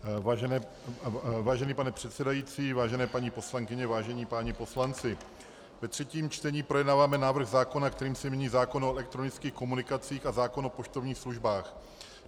Vážený pane předsedající, vážené paní poslankyně, vážení páni poslanci, ve třetím čtení projednáváme návrh zákona, kterým se mění zákon o elektronických komunikacích a zákon o poštovních službách.